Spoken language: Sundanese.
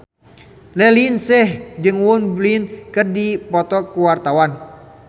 Raline Shah jeung Won Bin keur dipoto ku wartawan